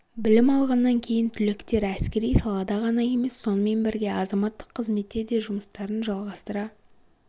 білім алғаннан кейін түлектер әскери салада ғана емес сонымен бірге азаматтық қызметте де жұмыстарын жалғастыра